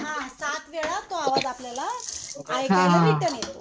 हा सात वेळा तो आवाज आपल्याला ऐकायला रिटर्न येतो.